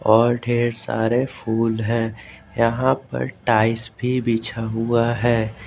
और ढ़ेर सारे फूल है यहां पर टाइल्स भी बिछा है।